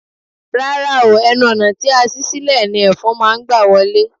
Rárá o, ẹnu ọ̀nà tí a ṣí sílè ni Ẹ̀fọn máa gbà wọlé.